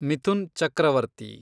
Mithun Chakraborty